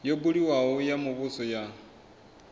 yo buliwaho ya muvhuso ya